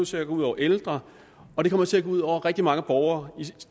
til at gå ud over ældre og det kommer til at gå ud over rigtig mange borgere i